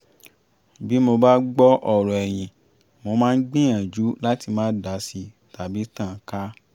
bí mo bá gbọ́ ọ̀rọ̀ ẹ̀yin mó máa ń gbìyànjú láti má dási tàbí tàn án ká